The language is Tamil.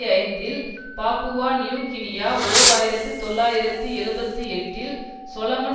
ஐந்துஇல் பாப்புவா நியூகினியா ஓர் ஆயிரத்து தொள்ளாயிரத்து எழுபத்து எட்டில் சொலமன்